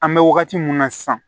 An bɛ wagati min na sisan